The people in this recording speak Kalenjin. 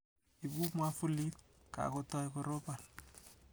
Ibu mwavulit, kakotoi koropan.